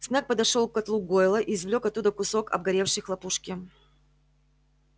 снегг подошёл к котлу гойла и извлёк оттуда кусок обгоревшей хлопушки